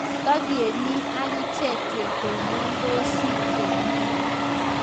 Tagemii akicheek ketonondosii komie